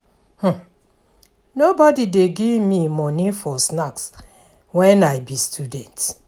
Nobodi dey give me moni for snacks wen I be student.